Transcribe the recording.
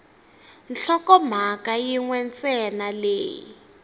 nhlokomhaka yin we ntsena leyi